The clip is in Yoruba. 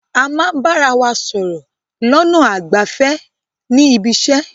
A máa bára wa sọ̀rọ̀ lọ́nà àìgbẹ̀fẹ̀ ní ibiṣẹ́.